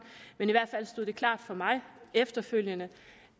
men i hvert fald stod det klart for mig efterfølgende